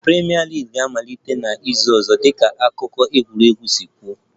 Premier League ga-amalite n'izu ọzọ dịka akụkọ egwuregwu si kwuo